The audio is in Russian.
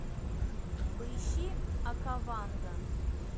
поищи окаванго